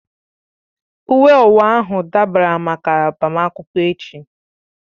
Uwe owu ahụ dabara máká agbamakwụkwọ echi